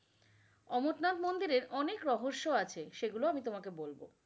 অমর-নাথ মন্দিরের অনেক রহস্য আছে সেগুল আমি তোমাকে বলব।